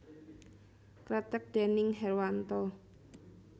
Kreteg déning Herwanto